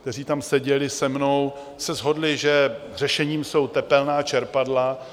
kteří tam seděli se mnou, se shodli, že řešením jsou tepelná čerpadla.